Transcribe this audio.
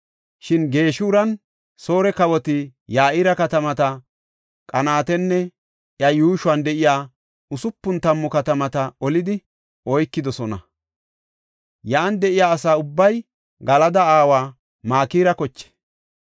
Shin Geshuranne Soore kawoti Ya7ira katamata Qanaatanne iya yuushuwan de7iya usupun tammu katamata olidi oykidosona; yan de7iya asa ubbay Galada aawa Makira koche.